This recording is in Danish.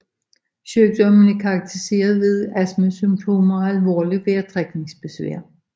Sygdommen er karakteriseret ved astmasymptomer og alvorligt vejrtrækningsbesvær